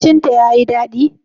Abincin ta yi dadi?